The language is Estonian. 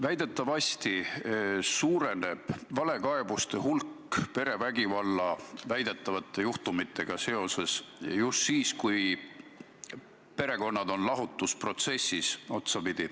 Väidetavasti suureneb valekaebuste hulk seoses perevägivalla väidetavate juhtumitega just siis, kui perekonnad on otsapidi lahutusprotessis.